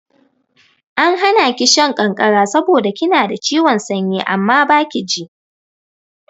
An hana ki shan ƙanƙara saboda kina da ciwon sanyi amma baki ji.